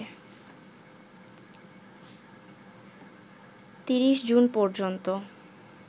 ৩০ June পর্যন্ত